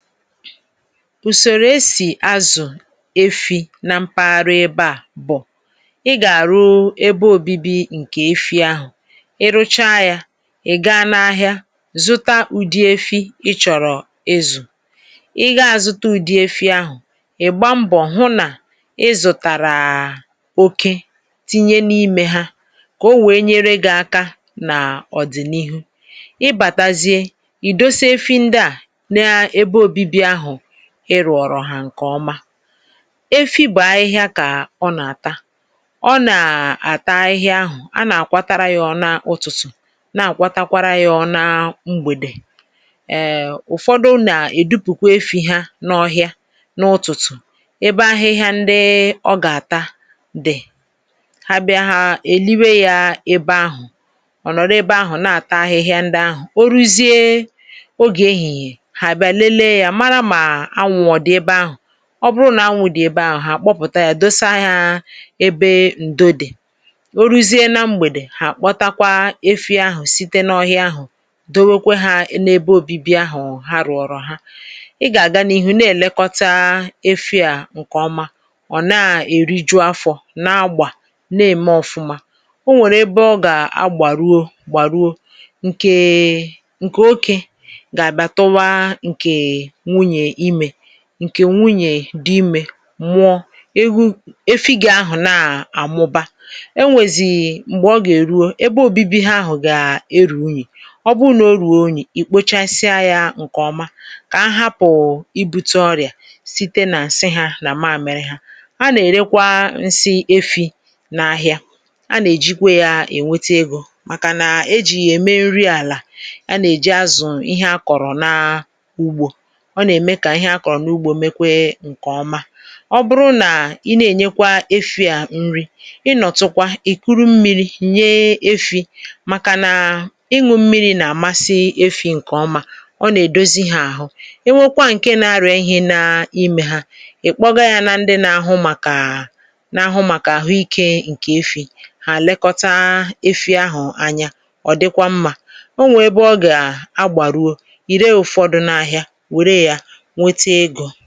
Usòrò esì azụ̀ efi nà mpaghara ebe à bụ̀; ị gà-àrụ ebe òbibi ǹkè efi ahụ̀, ị rụcha yȧ ị̀ gaa n’ahịa zụta ụ̀dị efi ị chọ̀rọ̀ izụ̀. ị gȧ-azụ̀ta ụ̀dị efi ahụ̀, ị̀ gba mbọ̀ hụ nà ị zụ̀tàrà oké, tinye n’imė ha kà o wèe nyere gị̇ aka ná ọ̀dị̀nihu. Ị batàzie, idosa efi ndị a na-ebe òbibi ahụ ị rụrụọ hà ǹkè ọma. Efi bụ̀ ahịhịa kà ọ nà-àtà, ọ nà-àta ahịhịa ahụ̀; a nà-àkwatara yȧ ọ̀ na ụtụ̀tụ̀ na-àkwatakwara yȧ ọ̀ na mgbèdè. um ụfọdụ nà-èdupùkwa efi̇ ha n’ọhịa n’ụtụ̀tụ̀, ebe ahịhịa ndị ọ gà-àta di. Ha bịa hȧ èliwe yȧ ebe ahụ̀ ọ̀ nọ̀rọ̀ ebe ahụ̀ na-àta ahịhịa ndị ahụ̀, o ruzie oge ehìhìè ha bịa lele ya marà ma anwụ ọ dị ebe ahụ. Ọ bụrụ nà anwụ̇ dị̀ ebe ahụ̀ ha àkpọ pụ̀ta yȧ, dosa ha ebe ǹdo dị̀. Ó ruzie na mgbèdè, hà kpọta kwa efi ahụ̀ site n’ọhịa ahụ̀ dowe kwe ha na ebe obibi ahụ̀ ha rụ̀ọrọ ha. Ị gà-àga n’ihu na-èlekọta efi à ǹkè ọma, ọ̀ na-èriju afọ̇ na-agbà na-ème ọfụma. O nwèrè ebe ọ gà-agbàruo gbàruo, ǹkè oké ga-abịa tụwa ǹkè nwunyè ịme. Nke nwunyè dị imė mụọ ewu. Efi gị ahụ̀ na-àmụba, enwèzì m̀gbè ọ gà-èruo, ebe òbibi ha ahụ gà-erù unyì. Ọ bụrụ nà o rùo unyì, ì kpochasịa yȧ ǹkè ọma kà ha hapụ̀ ibu̇tė ọrịà, site nà nsị hȧ nà mamịrị ha. A nà-èrekwa nsi efi̇ n’ahịà, a nà-èjikwa yȧ ènwete egȯ; màkà nà e jì yà ème nri àlà a nà-èji azụ̀ ihe a kọ̀rọ̀ na a ugbȯ. Ọ na-eme ka ihe akọ̀rọ̀ na úgbo me kwè nke ọma. Ọ bụrụ nà i na-ènyekwa efi̇ à nri, ị nọ̀ tụkwa ìkuru mmiri̇ nye efi̇; màkà nà ịṅụ̇ mmiri̇ nà-àmasị efi̇ ǹkè ọma, ọ nà-èdozi hȧ àhụ. É nwokwa ǹke na-arịà ihe na imė ha, ì kpọgȧ yȧ na ndị nȧ-ȧhụ màkà nȧ-ȧhụ màkà àhụ ikė ǹkè efi̇; hà lekọta efi̇ ahụ̀ anya, ọ̀ dịkwa mmȧ. O nwè ebe ọ gà a gbàruo ì ree ụ̀fọdụ n’ahịà wérè ya nwete ego.